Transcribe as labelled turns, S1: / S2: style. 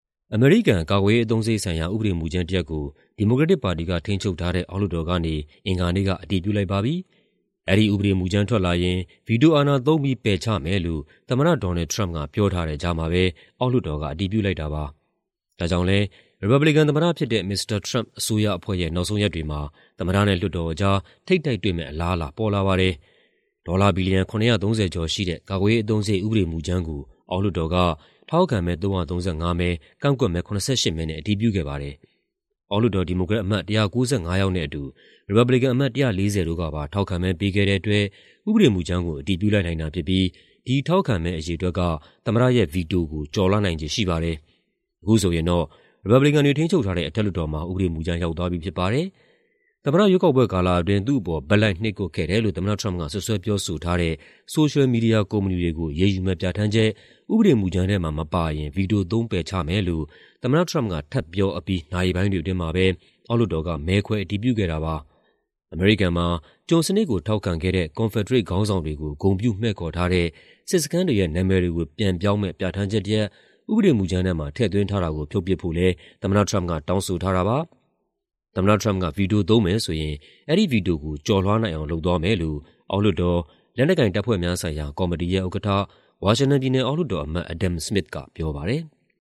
S1: အမေရိကန် ကာကွယ်ရေးအသုံးစရိတ်ဆိုင်ရာ ဥပဒေမူကြမ်းတရပ်ကို ဒီမိုကရက်တစ်ပါတီက ထိန်းချုပ်ထားတဲ့ အောက်လွှတ်တော်ကနေ အင်္ဂါနေ့က အတည်ပြုလိုက်ပါပြီ။ အဲဒီဥပဒေမူကြမ်း ထွက်လာရင် ဗီတိုအာဏာသုံးပြီး ပယ်ချမယ်လို့ သမ္မတ ဒေါ်နယ်လ်ဒ် ထရမ့်ပ်က ပြောထားတဲ့ကြားမှာပဲ အောက်လွှတ်တော်က အတည်ပြုလိုက်တာပါ။ ဒါကြောင့်လည်း ရီပတ်ဘလီကန်သမ္မတဖြစ်တဲ့ မစ္စတာထရမ့်ပ် အစိုးရအဖွဲ့ရဲ့ နောက်ဆုံးရက်တွေမှာ သမ္မတနဲ့ လွှတ်တော်အကြား ထိပ်တိုက်တွေ့မယ့် အလားအလာ ပေါ်လာပါတယ်။ ဒေါ်လာ ဘီလီယံ ၇၃၀ ကျော်ရှိတဲ့ ကာကွယ်ရေးအသုံးစရိတ် ဥပဒေမူကြမ်းကို အောက်လွှတ်တော်က ထောက်ခံမဲ ၃၃၅ မဲ၊ ကန့်ကွက်မဲ ၇၈ မဲနဲ့ အတည်ပြုခဲ့ပါတယ်။ အောက်လွှတ်တော် ဒီမိုကရက်အမတ် ၁၉၅ ယောက်နဲ့အတူ ရီပတ်ဘလီကန်အမတ် ၁၄၀ တို့ကပါ ထောက်ခံမဲပေးခဲ့တဲ့အတွက် ဥပဒေမူကြမ်းကို အတည်ပြုလိုက်နိုင်တာဖြစ်ပြီး ဒီထောက်ခံမဲအရေအတွက်က သမ္မတရဲ့ ဗီတိုကို ကျော်လွှားနိုင်ခြေရှိပါတယ်။ အခုဆိုရင်တော့ ရီပတ်ဘလီကန်တွေ ထိန်းချုပ်ထားတဲ့ အထက်လွှတ်တော်မှာ ရောက်သွားပြီဖြစ်ပါတယ်။ သမ္မတရွေးကောက်ပွဲကာလအတွင်း သူ့အပေါ် ဘက်လိုက်နှိပ်ကွပ်ခဲ့တယ်လို့ သမ္မတထရမ့်ပ် စွပ်စွဲပြောဆိုထားတဲ့ ဆိုရှယ်မီဒီယာကုမ္ပဏီတွေကို အရေးယူမယ့်ပြဌာန်းချက် ဥပဒေမူကြမ်းထဲမှာမပါရင် ဗီတိုသုံးပယ်ချမယ်လို့ သမ္မတထရမ့်ပ်က ထပ်ပြောအပြီး နာရီပိုင်းတွေအတွင်းမှာပဲ အောက်လွှတ်တော်က မဲခွဲအတည်ပြုခဲ့တာပါ။ အမေရိကန်မှာ ကျွန်စနစ်ကိုထောက်ခံခဲ့တဲ့ ကွန်ဖက်ဒရိတ်ခေါင်းဆောင်တွေကို ဂုဏ်ပြုမှည့်ခေါ်ထားတဲ့ စစ်စခန်းတွေရဲ့နာမည်တွေကို ပြန်ပြောင်းမယ့် ပြဌာန်းချက်တရပ် ဥပဒေမူကြမ်းထဲမှာ ထည့်သွင်းထားတာကို ဖြုတ်ပစ်ဖို့လည်း သမ္မတထရမ့်ပ်က တောင်းဆိုထားတာပါ။ သမ္မတထရမ့်ပ်က ဗီတိုသုံးမယ်ဆိုရင် အဲဒီဗီတိုကို ကျော်လွှားနိုင်အောင် လုပ်သွားမယ်လို့ အောက်လွှတ်တော်၊ လက်နက်ကိုင်တပ်ဖွဲ့များဆိုင်ရာ ကော်မတီရဲ့ဥက္ကဋ္ဌ၊ ဝါရှင်တန်ပြည်နယ် အောက်လွှတ်တော်အမတ် Adam Smith ကပြောပါတယ်။